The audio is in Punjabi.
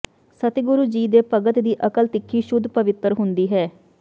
ਸਤਿਗੁਰ ਜੀ ਦੇ ਭਗਤ ਦੀ ਅਕਲ ਤਿੱਖੀ ਸ਼ੁੱਧ ਪਵਿੱਤਰ ਹੁੰਦੀ ਹੈ